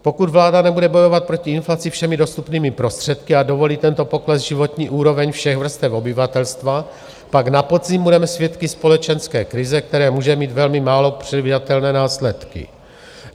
Pokud vláda nebude bojovat proti inflaci všemi dostupnými prostředky a dovolí tento pokles životní úrovně všech vrstev obyvatelstva, pak na podzim budeme svědky společenské krize, která může mít velmi málo předvídatelné následky.